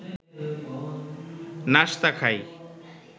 নাশতা খাই